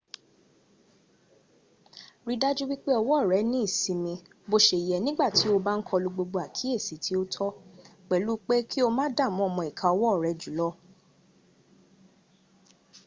rí i dájú pé ọwọ́ rẹ ní ìsinmi bó se yẹ nígbàtí o bá ń kọlu gbogbo àkíyèsí tí ó tó - pẹ̀lú pé ki o má dààmú ọmọ ìka ọwọ́ rẹ jùlọ